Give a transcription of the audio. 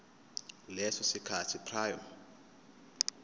leso sikhathi prior